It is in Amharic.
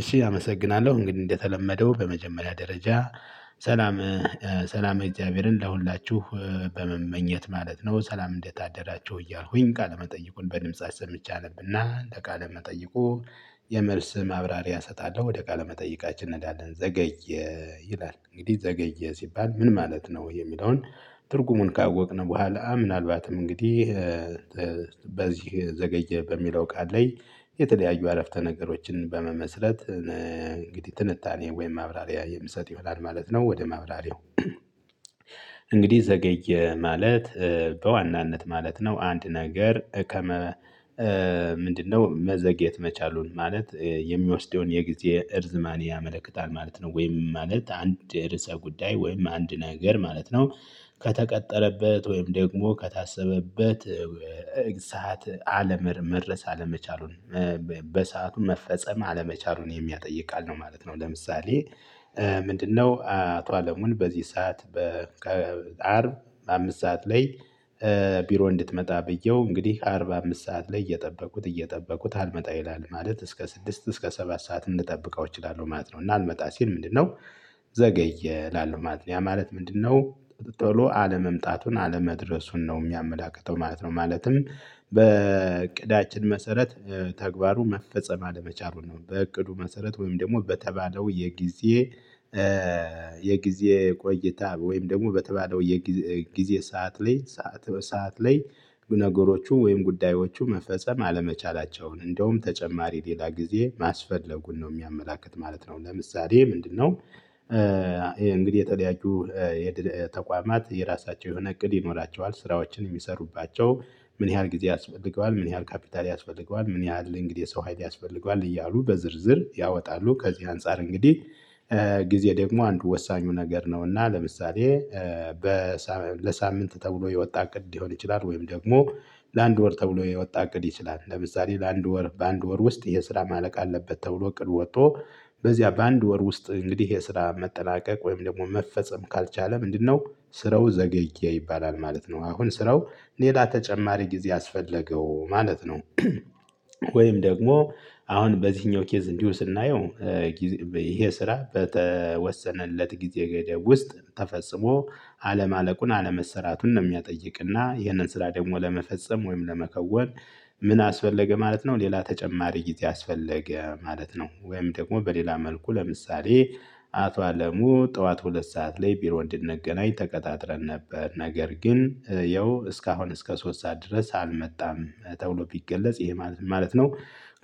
እሺ አመሰግናለሁ እንግዲህ እንደተለመደው በመጀመሪያ ደረጃ ሰላመ ሰላመ እግዚአብሔርን ለሁላችሁ በመመኘት ማለት ነው። ሰላም እንዴት አደራቸው እያልኩኝ ቃለመጠይቁን በድምጽ አሰምቼ አነብና እንደ ቃለ መጠይቁ። የመልስ ማብራሪያ እሰጣለሁ ወደ ቃለ መጠይቃችን እንሄዳለን። ዘገየ ይላል እንግዲህ ዘገየ ሲባል ምን ማለት ነው? የሚለውን ትርጉሙን ካወቅን በኋላ ምናልባትም እንግዲህ በዚህ ዘገየ በሚለው ቃል ላይ የተለያዩ አረፍተ ነገሮችን በመመስረት። እንግዲህ ትንታኔ ወይም ማብራሪያ የምሰጥ ይሆናል ማለት ነው። ወደ ማብራሪያው እንግዲህ ዘገየ ማለት በዋናነት ማለት ነው። አንድ ነገር ከመ ምንድነው መዘግየት መቻሉን ማለት የሚወስደውን የጊዜ እርዝማኔ ያመለክታል ማለት ነው። ወይም ማለት አንድ ርዕሰ ጉዳይ ወይም አንድ ነገር ማለት ነው። ከተቀጠለበት ወይም ደግሞ ከታሰበበት ሰዓት አለ መድረስ አለመቻሉን በሰአቱ መፈጸም አለመቻሉን የሚያጠይቅ ቃል ነው ማለት ነው። ለምሳሌ ምንድነው አቶ አለሙን በዚህ ሰዓት በ ከአርብ አምስት ሰዓት ላይ? ቢሮ እንድትመጣ ብየው እንግዲህ ከአርብ አምስት ሰዓት ላይ እየጠበቁት እየጠበቁት አልመጣ ይላል ማለት እስከ ስድስት እስከ ሰባት ሰዓት እንድጠብቀው እችላለሁ ማለት ነው። እና አልመጣ ሲል ምንድነው ዘገየ እላለው ማለት ነው። ያ ማለት ምንድነው? ቶሎ አለመምጣቱን አለመድረሱን ነው የሚያመላክተው ማለት ነው። ማለትም በእቅዳችን መሰረት ተግባሩ መፈጸም አለመቻሉን ነው። በእቅዱ መሰረት ወይም ደግሞ በተባለው የጊዜ የጊዜ ቆይታ ወይም ደግሞ በተባለው የጊዜ ጊዜ ሰዓት ላይ ሰዓት ላይ ነገሮቹ ወይም ጉዳዮቹ መፈጸም አለመቻላቸውን እንደውም ተጨማሪ ሌላ ጊዜ ማስፈለጉን ነው የሚያመላክት ማለት ነው። ለምሳሌ ምንድነው? ይሄ እንግዲህ የተለያዩ የተቋማት የራሳቸው የሆነ እቅድ ይኖራቸዋል ስራዎችን የሚሰሩባቸው ምን ያህል ጊዜ ያስፈልገዋል ምን ያህል ካፒታል ያስፈልገዋል ምን ያህል እንግዲህ ሰው ሀይል ያስፈልገዋል እያሉ በዝርዝር ያወጣሉ ከዚህ አንፃር እንግዲህ። ጊዜ ደግሞ አንዱ ወሳኙ ነገር ነውና ለምሳሌ በሳ ለሳምንት ተብሎ የወጣ እቅድ ሊሆን ይችላል። ወይም ደግሞ ለአንድ ወር ተብሎ የወጣ እቅድ ይችላል። ለምሳሌ ለአንድ ወር በአንድ ወር ውስጥ የስራ ማለቅ አለበት ተብሎ ቅዱ ወጥቶ በዚያ በአንድ ወር ውስጥ እንግዲህ የስራ መጠናቀቅ ወይም ደግሞ መፈጸም ካልቻለ ምንድነው ስረው ዘገየ ይባላል ማለት ነው። አሁን ስራው ሌላ ተጨማሪ ጊዜ አስፈለገው ማለት ነው። ወይም ደግሞ አሁን በዚህኛው ኬዝ እንዲሁ ስናየው። ይሄ ስራ በተወሰነለት ጊዜ ገደብ ውስጥ ተፈጽሞ አለማለቁን አለመሰራቱን ነው የሚያጠይቅና ይህንን ስራ ደግሞ ለመፈጸም ወይም ለመከወን ምን አስፈለገ ማለት ነው። ሌላ ተጨማሪ ጊዜ አስፈለገ ማለት ነው። ወይም ደግሞ በሌላ መልኩ ለምሳሌ። አቶ አለሙ ጠዋት ሁለት ሰዓት ላይ ቢሮ እንድንገናኝ ተቀጣጥረን ነበር ነገር ግን ያው እስከ አሁን እስከ ሶስት ሰዓት ድረስ አልመጣም። ተብሎ ቢገለጽ ይሄ ማለት ምን ማለት ነው?